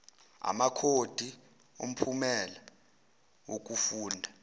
amakhodi omphumela wokufunda